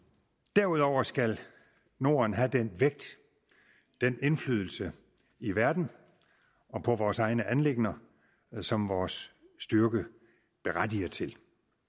derudover skal norden have den vægt den indflydelse i verden og på vores egne anliggender som vores styrke berettiger til